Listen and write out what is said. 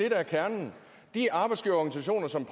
er kernen de arbejdsgiverorganisationer som